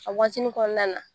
A waatinin kɔnɔna na